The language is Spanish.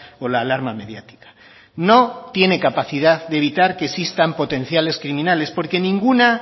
o la alarma mediática no tiene capacidad de evitar que existan potenciales criminales porque en ninguna